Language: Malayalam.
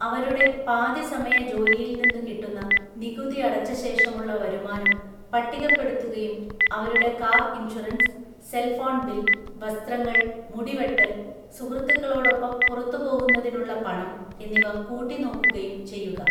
അവരുടെ പാതിസമയ ജോലിയിൽ നിന്നു കിട്ടുന്ന നികുതിയടച്ചശേഷമുള്ള വരുമാനം പട്ടികപ്പെടുത്തുകയും അവരുടെ കാർ ഇൻഷുറൻസ്, സെൽഫോൺ ബിൽ, വസ്ത്രങ്ങൾ, മുടിവെട്ടല്‍, സുഹൃത്തുക്കളോടൊപ്പം പുറത്തുപോകുന്നതിനുള്ള പണം എന്നിവ കൂട്ടിനോക്കുകയും ചെയ്യുക.